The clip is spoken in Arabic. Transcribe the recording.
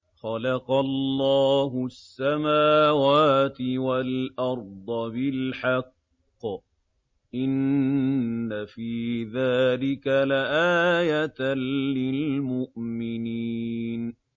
خَلَقَ اللَّهُ السَّمَاوَاتِ وَالْأَرْضَ بِالْحَقِّ ۚ إِنَّ فِي ذَٰلِكَ لَآيَةً لِّلْمُؤْمِنِينَ